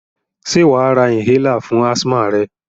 Sé wàá ra inhaler fún asthma rẹ?